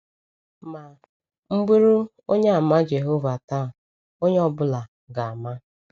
Ma, m bụrụ Onyeàmà Jehova taa, onye ọ bụla ga - ama.